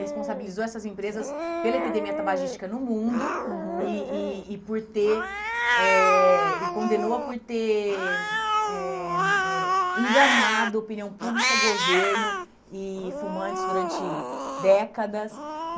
responsabilizou essas empresas pela epidemia tabagística no mundo, uhum e e e por ter, eh e condenou por ter eh eh enganado opinião pública, governo e fumantes durante décadas.